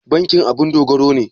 Bankin abun dogaro ne?